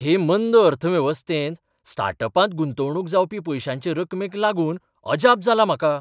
हे मंद अर्थवेवस्थेंत स्टार्ट अपांत गुंतवणूक जावपी पयश्यांचे रक्कमेक लागून अजाप जालां म्हाका.